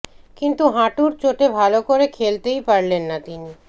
কিন্তু হাঁটুর চোটে ভাল করে খেলতেই পারলেন না তিনি